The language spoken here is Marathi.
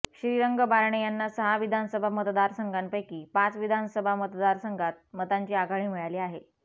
श्रीरंग बारणे यांना सहा विधानसभा मतदारसंघापैकी पाच विधानसभा मतदारसंघात मतांची आघाडी मिळाली आहे